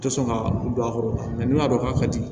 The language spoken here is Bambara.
Tɛ sɔn ka don a kɔrɔ n'u y'a dɔn k'a ka di